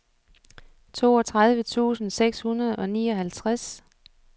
toogtredive tusind seks hundrede og nioghalvtreds